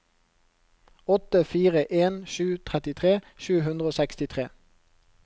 åtte fire en sju trettitre sju hundre og sekstitre